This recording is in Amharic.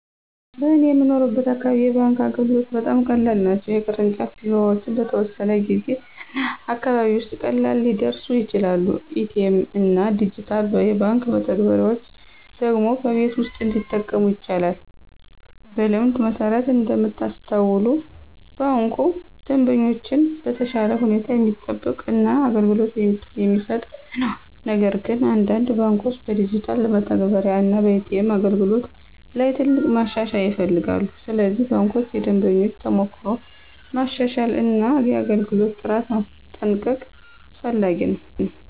በእኔ የምኖርበት አካባቢ የባንክ አገልግሎቶች በጣም ቀላል ናቸው። የቅርንጫፍ ቢሮዎች በተወሰነ ጊዜ እና አካባቢ ውስጥ ቀላል ሊደርሱ ይችላሉ። ኤ.ቲ.ኤም እና ዲጂታል የባንክ መተግበሪያዎች ደግሞ በቤት ውስጥ እንዲጠቀሙ ይቻላሉ። በልምድ መሠረት እንደምታስተውሉ ባንኩ ደንበኞችን በተሻለ ሁኔታ የሚጠብቅ እና አገልግሎት የሚሰጥ ነው። ነገር ግን አንዳንድ ባንኮች በዲጂታል መተግበሪያ እና ኤ.ቲ.ኤም አገልግሎት ላይ ትልቅ ማሻሻያ ይፈልጋሉ። ስለዚህ ባንኮች የደንበኞችን ተሞክሮ ማሻሻል እና የአገልግሎት ጥራት ማስጠንቀቅ አስፈላጊ ነው።